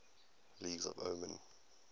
languages of oman